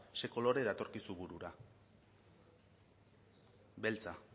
ze kolore datorkizu burura beltza